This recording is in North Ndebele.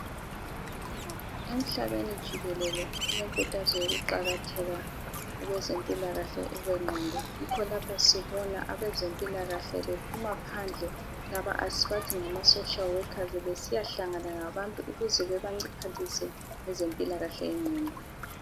Emhlabeni jikelele kulenkuthazo yokuqakatheka kwezempilakhle kwengqondo. Yikho lapho sibona abezempilakahle bephumaphandle laba esibathi ngama(Social workers) besiyahlangana labantu ukuze bebaphathise ngezimpilakahle yengqondo.